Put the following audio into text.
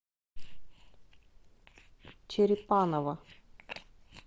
черепаново